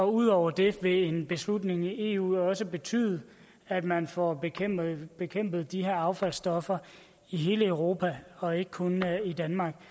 ud over det vil en beslutning i eu også betyde at man får bekæmpet bekæmpet de her affaldsstoffer i hele europa og ikke kun i danmark